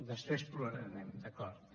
després plorarem d’acord